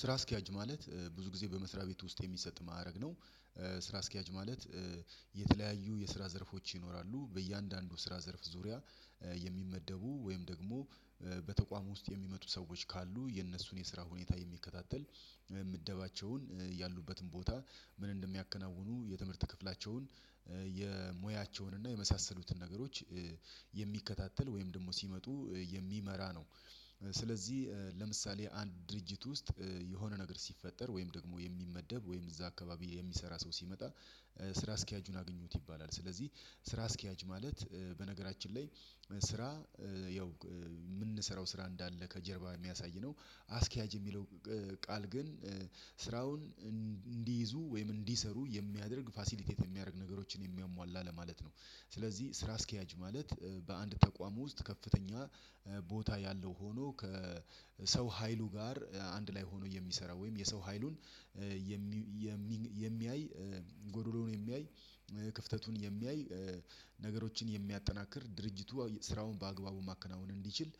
ስራ አስኪያጅ ማለት ብዙ ጊዜ በመስሪያ ቤት ውስጥ የሚሰጥ ማዕረግ ነው። ስራ አስኪያጅ ማለት የተለያዩ የስራ ዘርፎች ይኖራሉ። በእያንዳንዱ ስራ ዘርፍ ዙሪያ የሚመደቡ ወይም ደግሞ በተቋም ውስጥ የሚመጡ ሰዎች ካሉ የእነሱን የስራ ሁኔታ የሚከታተል ምደባቸዉን ያሉበትን ቦታ ምን እንደሚያከናውኑ የትምህርት ክፍላቸውን የሙያቸውን እና የመሳሰሉትን ነገሮች የሚከታተል ወይም ደግሞ ሲመጡ የሚመራ ነው። ስለዚህ ለምሳሌ አንድ ድርጅት ውስጥ የሆነ ነገር ሲፈጠር ወይም ደግሞ የሚመደብ ወይም እዛ አካባቢ የሚሰራ ሰው ሲመጣ ስራ አስኪያጁን አግኙት ይባላል። ስለዚህ ስራ አስኪያጅ ማለት በነገራችን ላይ ስራ ያው የምንሰራው ስራ እንዳለ ከጀርባ የሚያሳይ ነው አስኪያጅ የሚለው ቃል ግን ስራውን እንዲይዙ ወይም እንዲሰሩ የሚያደርግ ፋሲሊቴት የሚያደርግ ነገሮችን የሚያሟላ ለማለት ነው። ስለዚህ ስራ አስኪያጅ ማለት በአንድ ተቋም ውስጥ ከፍተኛ ቦታ ያለው ሆኖ ከሰው ሀይሉ ጋር አንድ ላይ ሆኖ የሚሰራው ወይም የሰው ሀይሉን የሚያይ ጎዶሎውን የሚያይ፣ ክፍተቱን የሚያይ፣ ነገሮችን የሚያጠናክር፣ ድርጅቱ ስራውን በአግባቡ ማከናወን እንዲችል